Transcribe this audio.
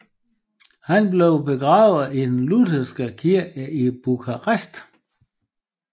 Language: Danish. Han blev begravet i den lutheranske kirke i Bukarest